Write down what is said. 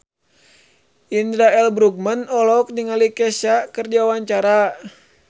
Indra L. Bruggman olohok ningali Kesha keur diwawancara